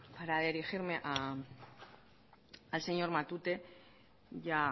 para dirigirme al señor matute ya